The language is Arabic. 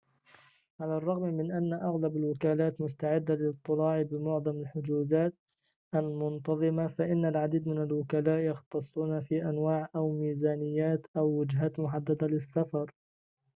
على الرغم من أن أغلب الوكالات مستعدة للاضطلاع بمعظم الحجوزات المنتظمة فإن العديد من الوكلاء يختصون في أنواع أو ميزانيات أو وجهات محددة للسفر